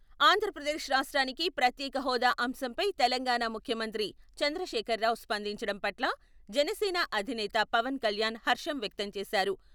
ఆంధ్రప్రదేశ్ రాష్ట్రానికి ప్రత్యేక హోదా అంశంపై తెలంగాణా ముఖ్యమంత్రి చంద్రశేఖర్ రావు స్పందించడం పట్ల జనసేన అధినేత పవన్ కళ్యాణ్ హర్షం వ్యక్తం చేశారు.